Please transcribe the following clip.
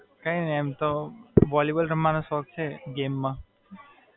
કઈ નહીં એમ તો વોલીબોલ રમવાનો શોખ છે, ગેમ માં.